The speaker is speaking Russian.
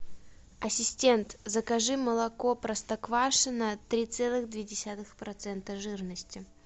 ассистент закажи молоко простоквашино три целых две десятых процента жирности